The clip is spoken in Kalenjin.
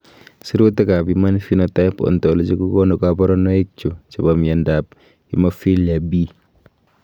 Sirutikab Human Phenotype Ontology kokonu koborunoikchu chebo miondab FHemophilia B.